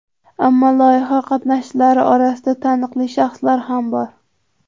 Ammo loyiha qatnashchilari orasida taniqli shaxslar ham bor.